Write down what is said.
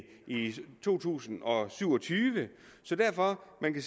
i to tusind og syv og tyve så derfor kan